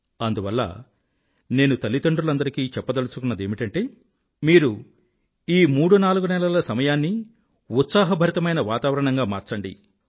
అందువల్ల నేను తల్లిదండ్రులందరికీ చెప్పదలుచుకున్నదేమిటంటే మీరు ఈ మూడు నాలుగు నెలల సమయాన్నీ ఉత్సాహభరితమైన వాతావరణంగా మార్చండి